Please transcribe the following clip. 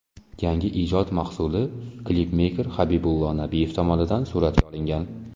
Yangi ijod mahsuli klipmeyker Habibullo Nabiyev tomonidan suratga olingan.